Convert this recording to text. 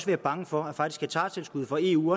være bange for at hektartilskuddet fra eu